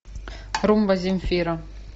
румба земфира